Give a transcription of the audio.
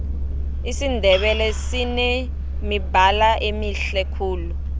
isindebele sinemibala emihle khulu